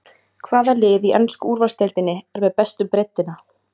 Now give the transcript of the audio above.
Hvaða lið í ensku úrvalsdeildinni er með bestu breiddina?